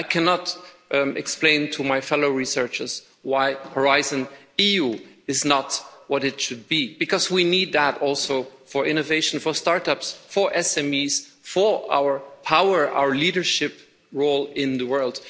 I cannot explain to my fellow researchers why Horizon Europe is not what it should be because we need that also for innovation, for start ups, for SMEs, for our power, our leadership role in the world.